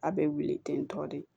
A bɛ wili ten tɔ de